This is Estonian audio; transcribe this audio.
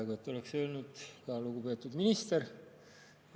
Peaaegu et oleksin öelnud ka, et lugupeetud minister.